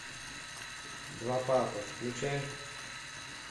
два папы включай